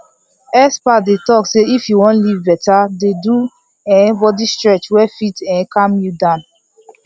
experts dey talk say if you wan live better dey do um body stretch wey fit um calm you down